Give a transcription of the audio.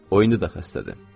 O indi də xəstədir.